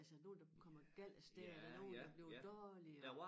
Altså nogle der kommer galt af sted og der nogle der bliver dårlige og